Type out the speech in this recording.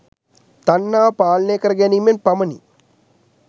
තණ්හාව පාලනය කර ගැනීමෙන් පමණි.